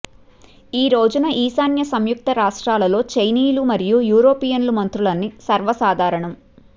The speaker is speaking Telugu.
ఈ రోజున ఈశాన్య సంయుక్త రాష్ట్రాలలో చైనీయుల మరియు యూరోపియన్ మంత్రులన్నీ సర్వసాధారణం